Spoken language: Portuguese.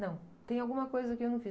Não, tem alguma coisa que eu não fiz.